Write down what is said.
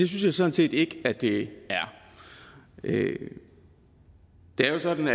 jeg sådan set ikke at det er det er jo sådan